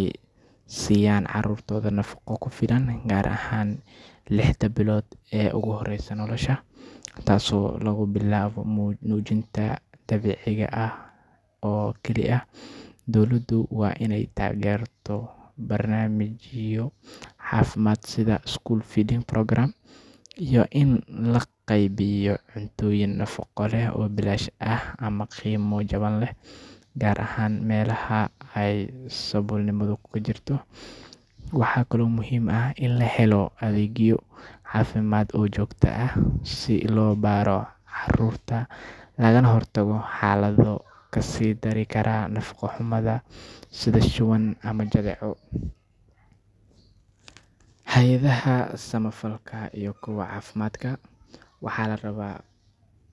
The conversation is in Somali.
ee carruurta, gaar ahaan lixda bilood ee ugu horeysa nolosha. Waalidiinta waa in ay fahmaan sida ugu fiican ee ay u diyaarin karaan cuntooyinka nafaqo leh ee carruurtooda. Saddexaad waa in dawladaha iyo hay'adaha samafalka ay taageeraan barnaamijyo sida School Feeding Program oo loogu talagalay in carruurta la siiyo cuntooyin nafaqo leh oo bilaash ah ama qiimo jaban. Tani waxay ka caawisaa carruurta iyo qoysaskooda saboolka ah inay helaan cunto ku filan. Afaraad waa in la helo adeegyo caafimaad oo joogto ah si loo baaro carruurta. Xaaladaha caafimaad ee la xiriira nafaqa xumada sida shuban ama jadeeco waxay u baahan yihiin in si degdeg ah loo daweeyo. Shanaad waa in hay'adaha samafalka, dowladda, iyo ururrada bulshada ay ka shaqeeyaan sidii ay u dhiirigelin lahaayeen dadaalada lagu xoojinayo nafaqada carruurta, iyadoo la sameynayo barnaamijyo si loo taageero carruurta saboolka ah iyo qoysaska aan awoodin inay helaan cuntooyin nafaqo leh. Marka la isku daro dhammaan tallaabooyinkan, waxaa suuragal ah in la yareeyo nafaqa xumada, isla markaana loo hagaajiyo nolosha carruurta iyo mustaqbalkooda. Qof kasta oo ka tirsan bulshada waa inuu ku lug yeesho ka hortagga nafaqa xumada si loo helo bulsho caafimaad qabta. Waxaa kale oo muhiim ah in la sameeyo baaritaanno joogto ah oo la raadiyo xalal dheeri ah si loo yarayo.